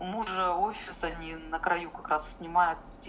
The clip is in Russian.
у мужа офис они на краю как раз снимают